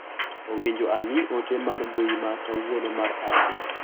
Owinjo ang'i ote mar mbui ma kawuono mar Abdi.